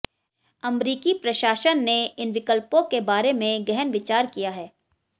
अमरीकी प्रशासन ने इन विकल्पों के बारे में गहन विचार किया है